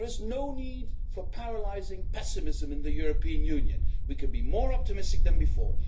There is no need for paralysing pessimism in the European Union. We can be more optimistic than before.